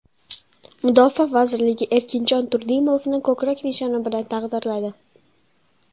Mudofaa vazirligi Erkinjon Turdimovni ko‘krak nishoni bilan taqdirladi.